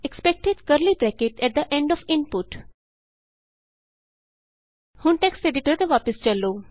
expected curly bracket at the end of input ਹੁਣ text editor ਤੇ ਵਾਪਸ ਚਲੋ